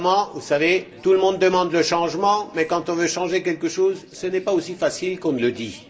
Vous savez, tout le monde demande le changement mais quand on veut changer quelque chose, ce n'est pas aussi facile qu'on le dit.